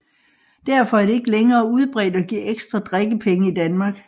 Derfor er det ikke længere udbredt at give ekstra drikkepenge i Danmark